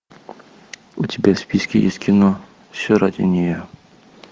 у тебя в списке есть кино все ради нее